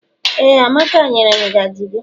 Ee, amaka nyere m ngaji gi.